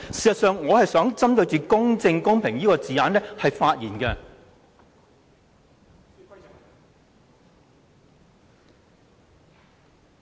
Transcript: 事實上，我是想針對"公正公平之舉"這個字眼發言的。